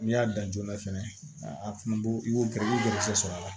N'i y'a dan joona fɛnɛ a fana b'o kɛ i bɛ gɛrisigɛ sɔrɔ a la